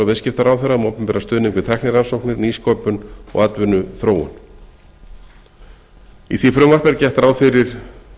viðskiptaráðherra um opinberan stuðning við tæknirannsóknir nýsköpun og atvinnuþróun í því frumvarpi er gert ráð fyrir